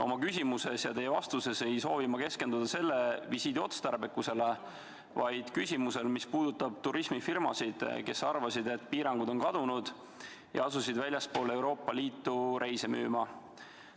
Oma küsimuses ja teie vastuses ei soovi ma keskenduda mitte selle visiidi otstarbekusele, vaid sellele, mis puudutab turismifirmasid, kes arvasid, et piirangud on kadunud, ja asusid väljapoole Euroopa Liitu korraldatavaid reise müüma.